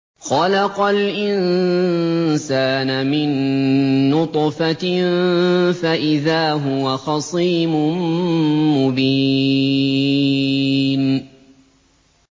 خَلَقَ الْإِنسَانَ مِن نُّطْفَةٍ فَإِذَا هُوَ خَصِيمٌ مُّبِينٌ